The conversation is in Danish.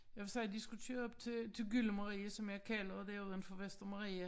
Jeg sagde de skulle køre op til til gyllemarie som jeg kalder det uden for Vestermarie